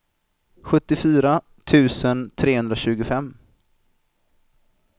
sjuttiofyra tusen trehundratjugofem